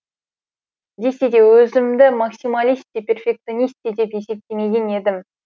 десе де өзімді максималист те перфекционист те деп есептемеген едім